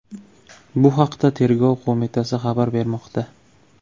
Bu haqda Tergov qo‘mitasi xabar bermoqda .